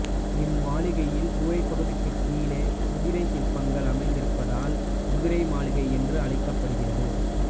இம்மாளிகையில் கூரைப்பகுதிக்குக் கீழே குதிரை சிற்பங்கள் அமைந்திருப்பதால் குதிரை மாளிகை என்று அழைக்கப்படுகிறது